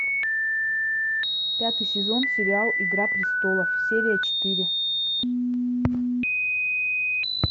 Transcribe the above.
пятый сезон сериал игра престолов серия четыре